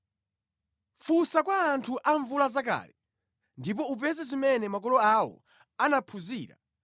“Funsa kwa anthu amvulazakale ndipo upeze zimene makolo awo anaziphunzira